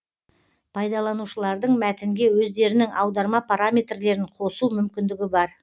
пайдаланушылардың мәтінге өздерінің аударма параметрлерін қосу мүмкіндігі бар